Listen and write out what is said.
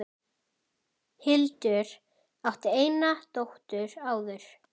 Hildur átti eina dóttur áður.